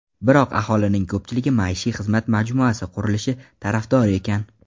Biroq aholining ko‘pchiligi maishiy xizmat majmuasi qurilishi tarafdori ekan.